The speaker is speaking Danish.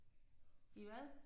I hvad?